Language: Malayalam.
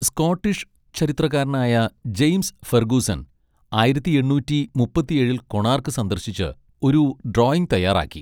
സ്കോട്ടിഷ് ചരിത്രകാരനായ ജെയിംസ് ഫെർഗൂസൺ ആയിരത്തി എണ്ണൂറ്റി മുപ്പത്തി ഏഴിൽ കൊണാർക്ക് സന്ദർശിച്ച് ഒരു ഡ്രോയിംഗ് തയ്യാറാക്കി.